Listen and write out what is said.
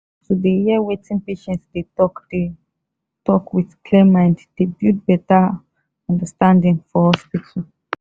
to dey hear wetin patient dey talk dey talk with clear mind dey build better ah understanding for hospitals.